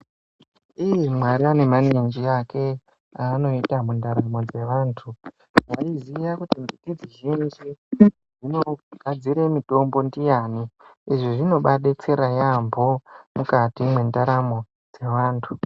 Imwi nayi! Mwari unemaninji akwe anoita mundaramo dzevantu, waiziya kuti mbiti dzeshe dzinogadzire mitombo ndiani?. Izvi zvinoba adetsera yaamho mukati mwendaramo dzeantu.